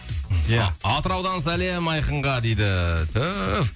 ия а атыраудан сәлем айқынға дейді түүф